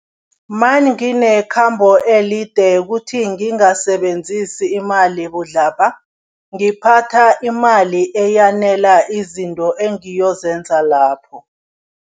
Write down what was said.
Manginekhambo elide kuthi ngingasebenzisi imali budlabha, ngiphatha imali eyanela izinto engiyozenza lapho.